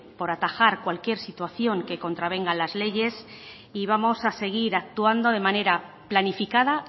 por atajar cualquier situación que contravengan las leyes y vamos a seguir actuando de manera planificada